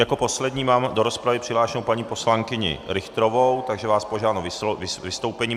Jako poslední mám do rozpravy přihlášenou paní poslankyni Richterovou, takže vás požádám o vystoupení.